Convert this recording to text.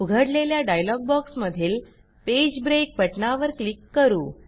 उघडलेल्या डायलॉग बॉक्समधील page break बटणावर क्लिक करू